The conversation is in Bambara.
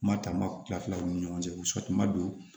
Mataaba tila fila u ni ɲɔgɔn cɛ u don